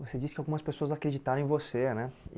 Você disse que algumas pessoas acreditaram em você, né?